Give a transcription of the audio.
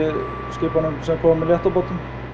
skipunum sem koma með létta báta